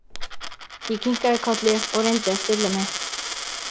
Ég kinkaði kolli og reyndi að stilla mig.